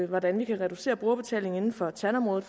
hvordan man kan reducere brugerbetalingen inden for tandområdet